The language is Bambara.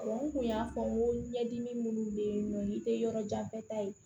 n kun y'a fɔ n ko ɲɛdimi minnu bɛ yen nɔ i tɛ yɔrɔ jan fɛ ta ye